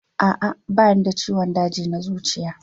A'a, ba ni da ciwon daji na zuciya